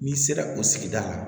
N'i sera o sigida la